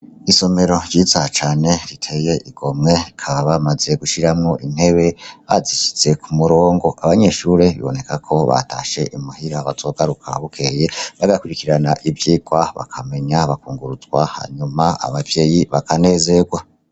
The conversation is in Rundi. Isomero ryiza cane riteye igomwe bakaba bamaze gushiramwo intebe bazishize kumurongo, abanyeshure biboneka ko batashe imuhira bazogaruka bukeye babe bakurikirana ivyirwa bakamenya , bakungurunzwa hanyuma abavyeyi bakanezerwa.